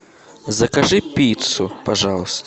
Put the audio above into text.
закажи пиццу пожалуйста